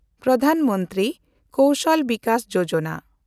Pradhan Mantri Kaushal Vikas Yojana